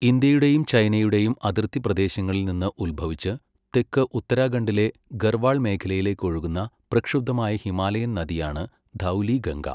ഇന്ത്യയുടെയും ചൈനയുടെയും അതിർത്തി പ്രദേശങ്ങളിൽ നിന്ന് ഉത്ഭവിച്ച് തെക്ക് ഉത്തരാഖണ്ഡിലെ ഗർവാൾ മേഖലയിലേക്ക് ഒഴുകുന്ന പ്രക്ഷുബ്ധമായ ഹിമാലയൻ നദിയാണ് ധൗലിഗംഗ.